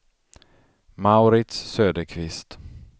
Mauritz Söderqvist